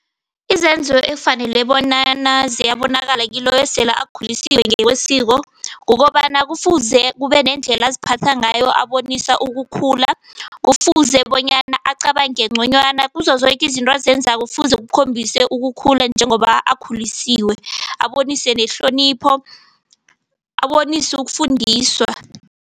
Izenzo ekufanele bonyana ziyabonakala kiloyo esele akhuliswe ngokwesiko kukobana, kufuze kube nendlela aziphatha ngayo abonisa ukukhula. Kufuze bonyana acabange ngconywana. Kuzo zoke izinto azenzako kufuze kukhombise ukukhula njengoba akhulisiwe. Abonise nehlonipho, abonise ukufundiswa.